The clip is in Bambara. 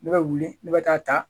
Ne bɛ wuli ne bɛ taa ta